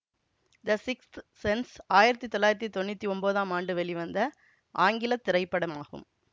த sixth sense ஆயிரத்தி தொள்ளாயிரத்தி தொன்னூத்தி ஒன்போதாம் ஆண்டு வெளிவந்த ஆங்கில திரைப்படமாகும்